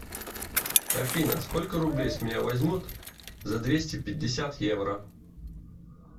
афина сколько рублей с меня возьмут за двести пятьдесят евро